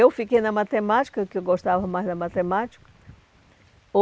Eu fiquei na matemática, que eu gostava mais da matemática.